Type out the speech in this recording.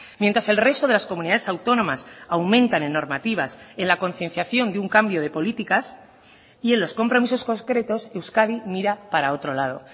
mientras el resto de las comunidades autónomas aumentan en normativas en la concienciación de un cambio de políticas y en los compromisos concretos euskadi mira para otro lado